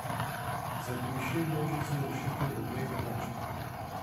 Zapiši množico rešitev obeh enačb.